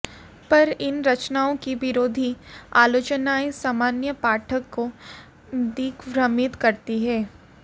पर इन रचनाओं की विरोधी आलोचनाएँ सामान्य पाठक को दिग्भ्रमित करती हैं